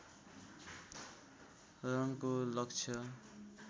रनको लक्ष्य